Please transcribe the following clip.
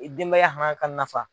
I denbaya hana ka nafa.